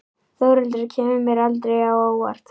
Þórhildur kemur mér aldrei á óvart.